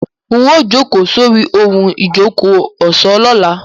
Ń ó jókòó sórí í ohun ìjókòó ọ̀ṣọ́ lọ́la.